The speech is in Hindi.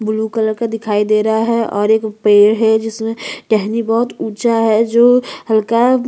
ब्लू कलर का दिखाई दे रहा है और एक पेड़ हैं जिसमे टहनी बहुत ऊंचा हैं और हल्का--